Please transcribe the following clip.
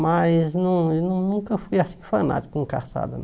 Mas nun nun nunca fui assim fanático com caçada, não.